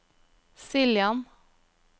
Siljan